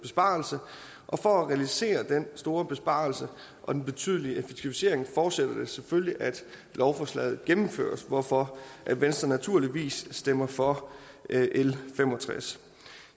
besparelse og for at realisere den store besparelse og den betydelige effektivisering forudsætter det selvfølgelig at lovforslaget gennemføres hvorfor venstre naturligvis stemmer for l fem og tres